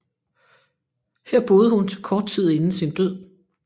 Her boede hun til kort tid inden sin død